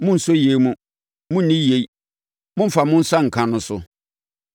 “Monnsɔ yei mu, monnni yei, mommfa mo nsa nka!” no so?